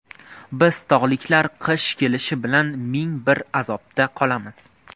Biz tog‘liklar qish kelishi bilan ming bir azobda qolamiz.